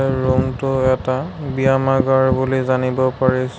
Room টো এটা ব্যামাগাৰ বুলি জানিব পাৰিছো।